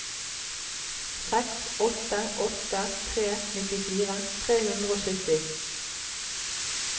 seks åtte åtte tre nittifire tre hundre og sytti